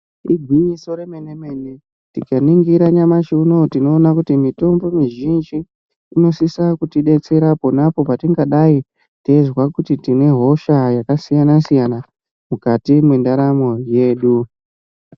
Igwinyiso yemene mene tikaningira nyamashi unowu tinoona kuti mitombo mizhinji unosisa kutidetsera ponapo patingadai taizwa kuti tine hosha yakasiyana siyana mukati mendaramo yedu .